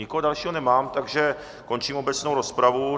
Nikoho dalšího nemám, takže končím obecnou rozpravu.